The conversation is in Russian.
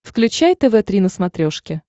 включай тв три на смотрешке